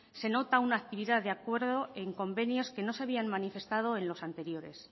se nota una actividad de acuerdo en convenios que no habían manifestado en los anteriores